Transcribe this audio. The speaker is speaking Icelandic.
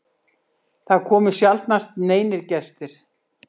Það komu sjaldnast neinir gestir.